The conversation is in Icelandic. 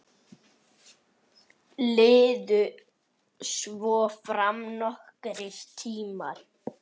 Liðu svo fram nokkrir tímar.